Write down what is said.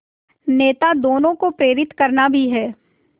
नेता दोनों को प्रेरित करना भी है